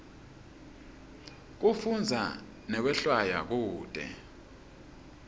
kufundza nekwehlwaya kute